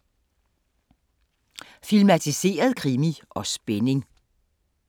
Filmatiseret krimi og spænding